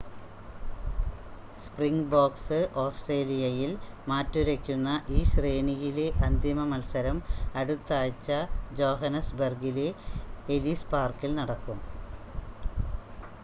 Springboks ഓസ്ട്രേലിയയിൽ മാറ്റുരയ്ക്കുന്ന ഈ ശ്രേണിയിലെ അന്തിമ മത്സരം അടുത്താഴ്ച ജോഹന്നസ്ബെർഗിലെ എലിസ് പാർക്കിൽ നടക്കും